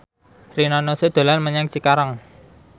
Rina Nose dolan menyang Cikarang